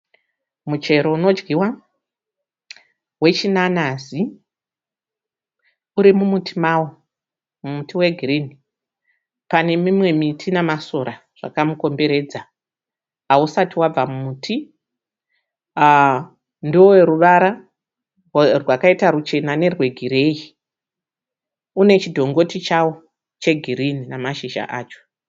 Muchero unodyiwa wechinanazi. Uri mumuti mawo, mumuti wegirinhi. Pane mimwe miti namasora zvakaukomberedza. Hausati wabva mumuti. Ndoweruvara rwakaita ruchena nerwegireyi. Unechidhongoti chawo chegirinhi namashizha acho.